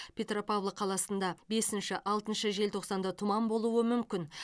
петропавл қаласында бесінші алтыншы желтоқсанда тұман болуы мүмкін